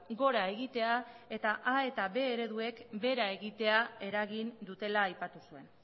gora egitea eta a eta b ereduek behera egitea eragin dutela aipatu zuen